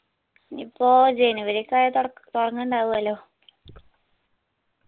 ഇനിപ്പോ january യൊക്കെ ആയ തൊടക്ക് തുടങ്ങ്ണ്ടാവുവല്ലോ